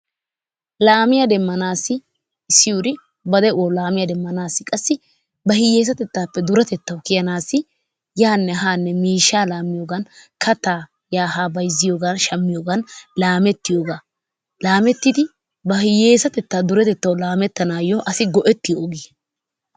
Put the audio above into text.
Lammiyaa demmanassi issi urri ba deuwassi lammiya demmanassi qassi ba hiyesatteppe durettettawu kiyanassi yanne hanne miishshaa lamiyogan kattaa yaa haa bayziyogan shamiyogan lamettiyoggaa, lammettiddi ba hiyesattettaa durttettawu lamettanwu asi go'ettiyo ogiya.